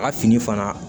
A ka fini fana